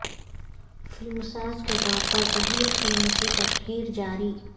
فلمساز کے طور پر پہلی فلم کی تشہیر جاری